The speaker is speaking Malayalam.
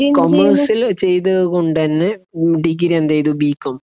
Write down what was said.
കോമേഴ്‌സില് ചെയ്തത്കൊണ്ട് തന്നെ ഡിഗ്രീ എന്തെയ്തു ബി കോം